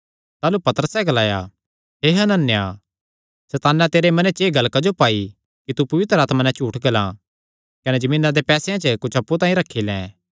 ताह़लू पतरसैं ग्लाया हे हनन्याह सैताने तेरे मने च एह़ गल्ल क्जो पाई कि तू पवित्र आत्मा नैं झूठ ग्लां कने जमीना दे पैसेयां च कुच्छ अप्पु तांई रखी लै